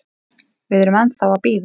Við erum ennþá að bíða.